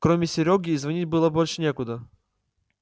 кроме серёги и звонить было больше некуда